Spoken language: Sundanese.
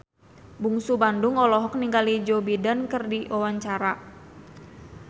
Bungsu Bandung olohok ningali Joe Biden keur diwawancara